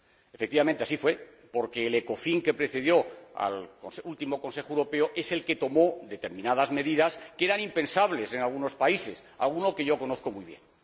Efectivamente, así fue, porque el Ecofin que precedió al último Consejo Europeo es el que tomó determinadas medidas que eran impensables en algunos países, alguno que yo conozco muy bien.